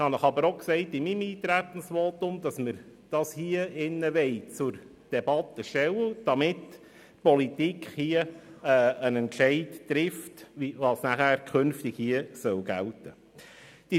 Ich habe Ihnen jedoch auch in meinem Eintretensvotum gesagt, dass wir das hier zur Debatte stellen wollen, damit die Politik entscheiden kann, was künftig gelten soll.